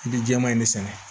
I bɛ jɛman in de sɛnɛ